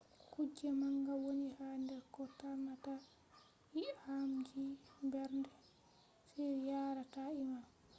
kuje manga wooni ha der ko tarnata ii’amji mberde on yaara ta ii’am